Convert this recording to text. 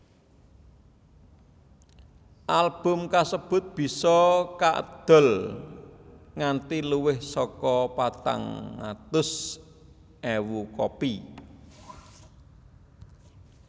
Album kasebut bisa kaedol nganti luwih saka patang atus ewu kopi